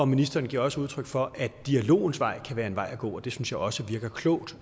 ministeren giver også udtryk for at dialogens vej kan være en vej at gå og det synes jeg også virker klogt